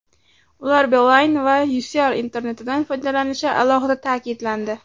Ular Beeline va Kcell internetidan foydalanishi alohida ta’kidlandi.